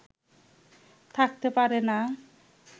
থাকতে পারে না